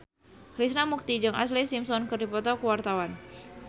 Krishna Mukti jeung Ashlee Simpson keur dipoto ku wartawan